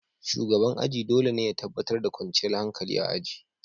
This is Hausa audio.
Shugaban aji dole ne ya tabbatar da kwanciyar hankali a aji.